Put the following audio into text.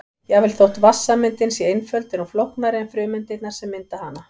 Jafnvel þótt vatnssameindin sé einföld er hún flóknari en frumeindirnar sem mynda hana.